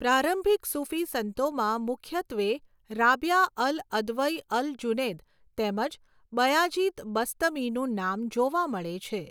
પ્રારંભિક સુફી સંતોમાં મુખ્યત્વે Rabia al Adawiya al Junaid તેમજ બયાજિદ બસ્તમીનું નામ જોવા મળે છે.